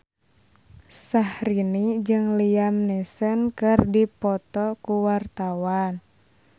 Syahrini jeung Liam Neeson keur dipoto ku wartawan